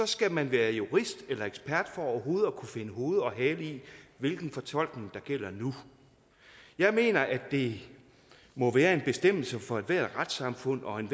skal man være jurist eller ekspert for overhovedet at kunne finde hoved og hale i hvilken fortolkning der gælder nu jeg mener at det må være en bestemmelse for ethvert retssamfund og en